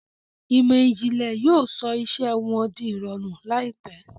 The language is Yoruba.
Ìmọ̀ ìjìnlẹ̀ yóò sọ iṣẹ́ wọn di ìrọ̀rùn láìpẹ́.